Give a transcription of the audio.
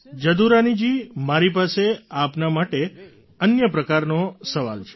જદુરાની જી મારી પાસે આપના માટે અન્ય પ્રકારનો સવાલ છે